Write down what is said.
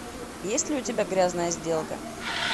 есть ли у тебя грязная сделка